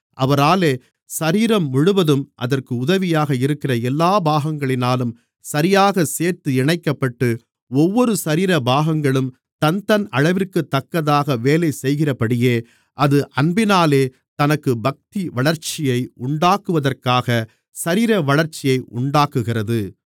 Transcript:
அவராலே சரீரம் முழுவதும் அதற்கு உதவியாக இருக்கிற எல்லா பாகங்களினாலும் சரியாகச் சேர்த்து இணைக்கப்பட்டு ஒவ்வொரு சரீர பாகங்களும் தன்தன் அளவிற்குத்தக்கதாக வேலை செய்கிறபடியே அது அன்பினாலே தனக்கு பக்திவளர்ச்சியை உண்டாக்குவதற்காகச் சரீரவளர்ச்சியை உண்டாக்குகிறது